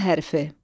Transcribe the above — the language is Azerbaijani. Ə hərfi.